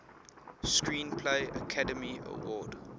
screenplay academy award